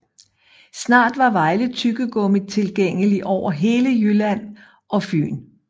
Snart var Vejle Tyggegummi tilgængelig over hele Jylland og Fyn